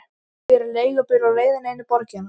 Ég er í leigubíl á leiðinni inn í borgina.